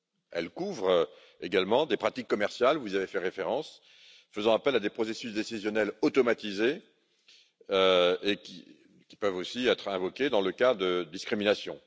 Elle couvre également des pratiques commerciales, vous y avez fait référence, faisant appel à des processus décisionnels automatisés, qui peuvent aussi être invoqués dans le cas de discriminations.